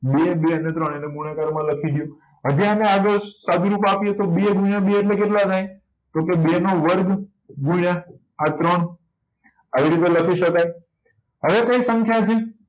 બે બે અને ત્રણ એને ગુણાકાર માં લખીએ હજે એને આગળ સાદુરૂપ આપીએ તો બે ગુણ્યા બે એટલે કેટલા થાય તો કે બે નો વર્ગ ગુણ્યા આ ત્રણ આવી રીતે લખી શકાય હવે કઈ સંખ્યા છે